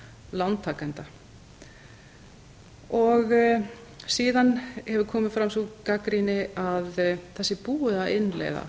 lántakenda síðan hefur komið fram sú gagnrýni að það sé búið að innleiða